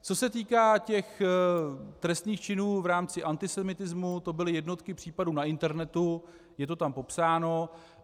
Co se týká těch trestných činů v rámci antisemitismu, to byly jednotky případů na internetu, je to tam popsáno.